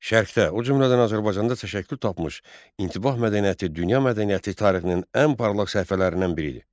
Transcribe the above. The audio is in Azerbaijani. Şərqdə, o cümlədən Azərbaycanda təşəkkür tapmış İntibah mədəniyyəti dünya mədəniyyəti tarixinin ən parlaq səhifələrindən biridir.